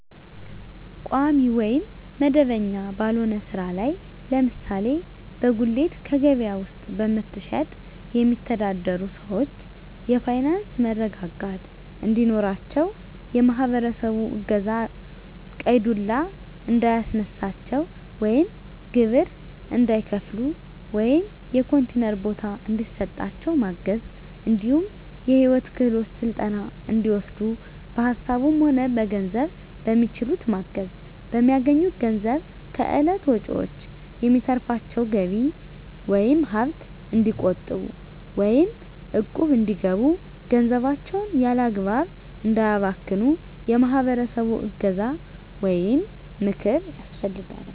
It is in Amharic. ቋሚ ወይም መደበኛ ባልሆነ ስራ ላይ ለምሳሌ በጉሌት ከበያ ውስጥ በመሸትጥ የሚተዳደሩትን ሰዎች የፋይናንስ መረጋጋት እንዲኖራቸው የማህበረሰቡ እገዛ ቀይ ዱላ እንዳያስነሳቸው ወይም ግብር እንዳይከፍሉ ወይም የኮንቲነር ቦታ እንዲሰጣቸው ማገዝ እንዲሁም የሂወት ክሄሎት ስልጠና እንዲወስዱ በሀሳብም ሆነ በገንዘብ በሚችሉት ማገዝ፣ በሚያገኙት ገንዘብ ከእለት ወጭዎች የሚተርፋቸውን ገቢ ወይም ሀብት እንዲቆጥቡ ወይም እቁብ እንዲገቡ ገንዘባቸውን ያላግባብ እንዳያባክኑ የማህበረሰቡ እገዛ ወይም ምክር ያስፈልጋል።